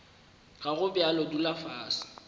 ga go bjalo dula fase